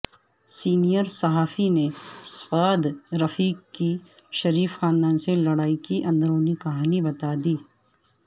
senior صحافی نے سعد رفیق کی شریف خاندان سے لڑائی کی اندورنی کہانی بتا دی